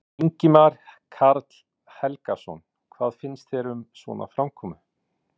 Ingimar Karl Helgason: Hvað finnst þér um svona framkomu?